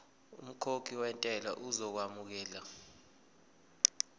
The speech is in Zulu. umkhokhi wentela uzokwamukelwa